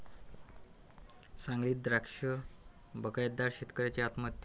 सांगलीत द्राक्ष बागायतदार शेतकऱ्याची आत्महत्या